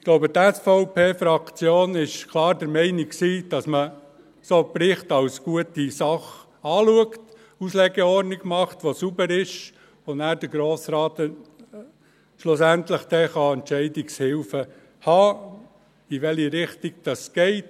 Ich glaube, die SVP-Fraktion war klar der Meinung, solche Berichte seien eine gute Sache, dass man eine saubere Auslegeordnung macht und der Grosse Rat so schliesslich Entscheidungshilfen dafür erhält, in welche Richtung es geht.